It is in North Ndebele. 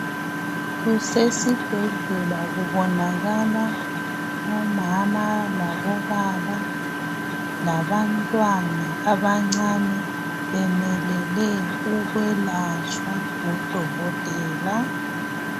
Kusesibhedlela kubonakala obaba labomama. Labantwana abancane bemelele ukwelatshwa ngudokotela.